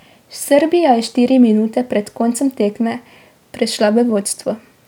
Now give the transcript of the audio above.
Srbija je štiri minute pred koncem tekme prešla v vodstvo.